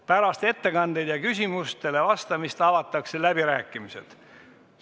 Pärast ettekandeid ja küsimustele vastamist avatakse läbirääkimised.